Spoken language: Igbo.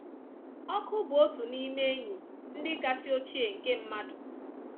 Ọkụ bụ otu n’ime enyi ndị kasị ochie nke mmadụ